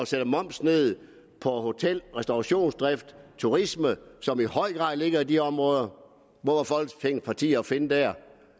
sætte momsen ned på hotel og restaurationsdrift og turisme som i høj grad ligger i de områder hvor var folketingets partier at finde der